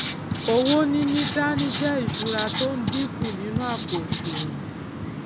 owó níní dání jé ìsúra tó n dínkù nínú àpò òsùwòn